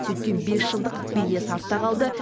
сөйткен бесжылдық белес артта қалды